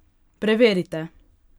Preverite!